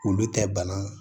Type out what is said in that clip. Olu tɛ bana